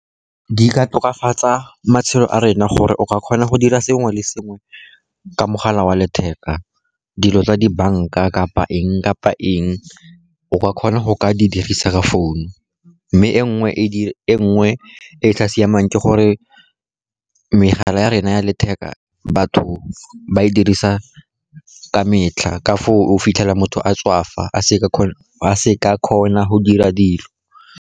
Di ka tokafatsa matshelo a rena gore o ka kgona go dira sengwe le sengwe ka mogala wa letheka. Dilo tsa dibanka, kapa eng kapa eng, o ka kgona go ka di dirisa ka founu, mme e nngwe e e sa siamang ke gore megala ya rena ya letheka, batho ba e dirisa ka metlha ka foo o fitlhela motho a tswafa, a se ka kgona go dira dilo.